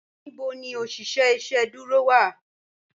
Níbò ní oṣiṣẹ iṣẹ̀dúró wá?